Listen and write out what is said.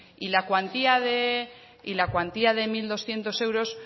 y la cuantía de mil doscientos euros